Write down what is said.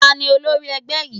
Ta ni olórí ẹgbẹ́ yín?